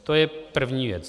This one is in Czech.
To je první věc.